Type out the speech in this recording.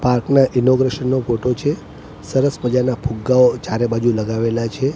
Park નાં inauguration નો photo છે સરસ મઝાનાં ફુગ્ગાઓ ચારેબાજુ લગાવેલા છે.